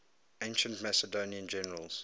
ancient macedonian generals